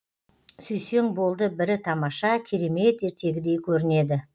сүйсең болды бірі тамаша керемет ертегідей көрінеді